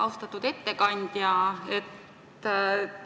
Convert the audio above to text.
Austatud ettekandja!